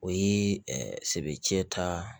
O ye sebe cɛ ta